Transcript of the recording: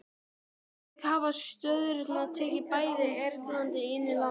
Að auki hafa sjóðirnir tekið bæði erlend og innlend lán.